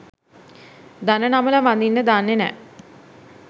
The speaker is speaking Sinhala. දන නමල වඳින්න දන්නේ නැහැ